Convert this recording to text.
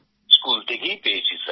school থেকেই পেয়েছি